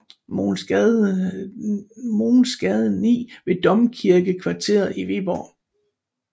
Mogens Gade 9 ved domkirkekvarteret i Viborg